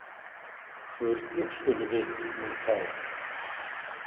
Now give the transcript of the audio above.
Hvernug skulu vit nú þá?